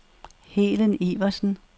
Helen Iversen